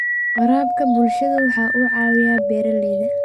Waraabka bulshadu waxa uu caawiyaa beeralayda.